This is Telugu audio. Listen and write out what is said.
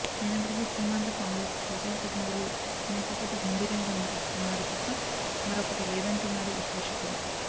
అయినప్పటీకీ సీమాంధ్ర కాంగ్రెస్ ప్రజా ప్రతినిధులు మేకపోతు గంభీర్యం కనబరుస్తున్నారు తప్ప మరోకటి లేదంటున్నారు విశ్లేషకులు